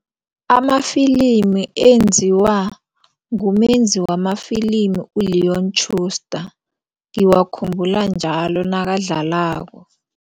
Amafilimi enziwa ngumenzi wamafilimi u-Leon Schustar ngiwakhumbula njalo nakadlalako.